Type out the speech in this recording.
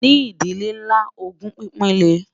ní ìdílé nlá, ògún pínpín lè